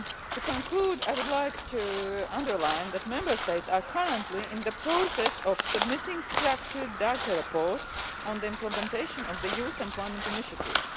To conclude, I would like to underline that Member States are currently in the process of submitting structured data reports on the implementation of the Youth Employment Initiative.